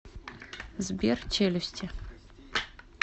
сбер челюсти